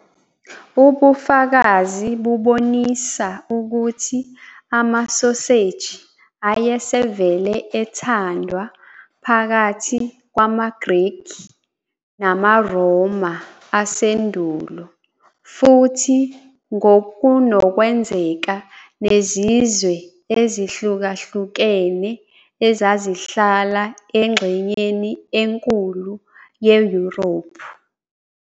Ubufakazi bubonisa ukuthi amasoseji ayesevele ethandwa phakathi kwamaGreki namaRoma asendulo futhi ngokunokwenzeka nezizwe ezihlukahlukene ezazihlala engxenyeni enkulu yeYurophu.